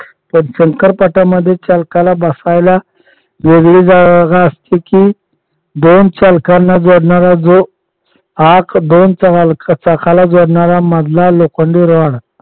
पण शंकर पट्ट्यामध्ये चालकाला बसायला वेगळी जागा असते की दोन चालकांना जोडणारा जो आक दोन चाकाला जोडणारा मधला लोखंडी rod